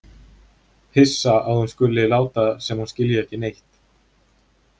Hissa að hún skuli láta sem hún skilji ekki neitt.